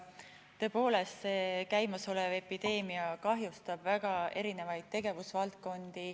Tõepoolest, see käimasolev epideemia kahjustab väga erinevaid tegevusvaldkondi.